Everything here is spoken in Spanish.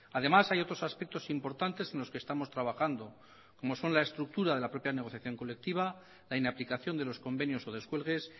además hay otros aspectos importantes en los que estamos trabajando como son la estructura de la propia negociación colectiva la inaplicación de los convenios o descuelgues